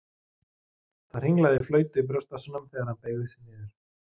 Það hringlaði í flautu í brjóstvasanum þegar hann beygði sig niður.